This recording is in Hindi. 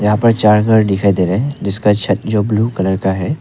यहां पर चार घर दिखाई दे रहे हैं जिसका छत ब्लू कलर का है।